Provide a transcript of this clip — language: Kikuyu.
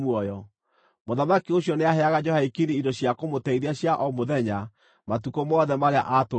Mũthamaki ũcio nĩaheaga Jehoiakini indo cia kũmũteithia cia o mũthenya, matukũ mothe marĩa aatũũrire muoyo.